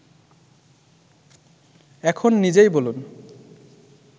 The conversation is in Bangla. এখন নিজেই বলুন